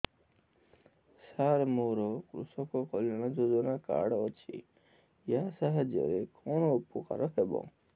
ସାର ମୋର କୃଷକ କଲ୍ୟାଣ ଯୋଜନା କାର୍ଡ ଅଛି ୟା ସାହାଯ୍ୟ ରେ କଣ ଉପକାର ହେବ